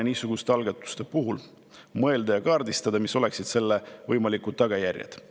Niisuguste algatuste puhul oleks elementaarne mõelda ja kaardistada, mis oleksid selle võimalikud tagajärjed.